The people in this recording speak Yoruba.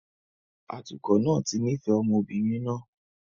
Atukọ̀ náà ti nífẹ̀ẹ́ ọmọ obìnrin náà